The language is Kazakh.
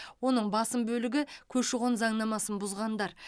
оның басым бөлігі көші қон заңнамасын бұзғандар